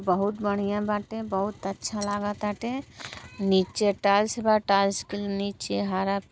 बहुत बढ़िया बाटे। बहुत अच्छा लागताटे। नीचे टाइल्स बा टाइल्स की नीचे हरा --